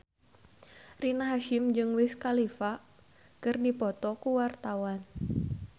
Rina Hasyim jeung Wiz Khalifa keur dipoto ku wartawan